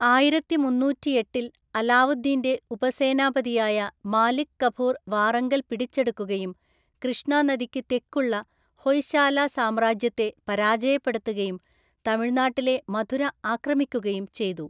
ആയിരത്തിമുന്നൂറ്റിഎട്ടില്‍ അലാവുദ്ദീന്‍റെ ഉപസേനാപതിയായ മാലിക് കഫൂർ വാറങ്കൽ പിടിച്ചെടുക്കുകയും കൃഷ്ണ നദിക്ക് തെക്കുള്ള ഹൊയ്ശാല സാമ്രാജ്യത്തെ പരാജയപ്പെടുത്തുകയും തമിഴ്നാട്ടിലെ മധുര ആക്രമിക്കുകയും ചെയ്തു.